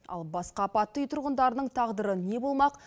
ал басқа апатты үй тұрғындарының тағдыры не болмақ